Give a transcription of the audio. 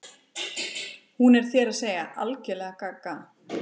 Hún er, þér að segja, algerlega gaga.